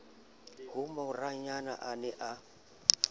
ha morayena a ne a